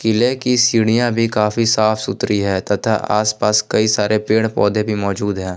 किले की सीढ़ियां भी काफी साफ सुथरी है तथा आसपास कई सारे पेड़ पौधे भी मौजूद हैं।